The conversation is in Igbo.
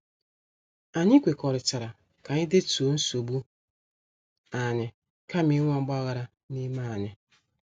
Anyị kwekọrịtara ka anyị detuo nsogbu anyị kama inwe ogbaghara n' ime anyị.